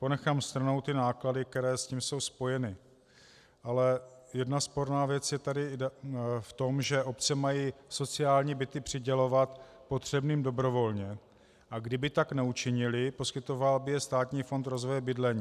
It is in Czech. Ponechám stranou ty náklady, které s tím jsou spojeny, ale jedna sporná věc je tady v tom, že obce mají sociální byty přidělovat potřebným dobrovolně, a kdyby tak neučinily, poskytoval by je Státní fond rozvoje bydlení.